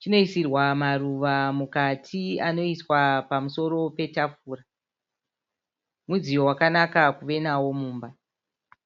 Chinoisirwa muruva mukati anoiswa pamusoro petafura. Mudziyo wakanaka kuva nawo mumba.